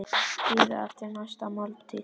Bíða eftir næstu máltíð.